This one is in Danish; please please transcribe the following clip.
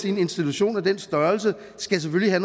en institution af den størrelse skal selvfølgelig